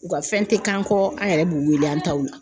U ka fɛn tɛ k'an kɔ an yɛrɛ b'u wele an taw la.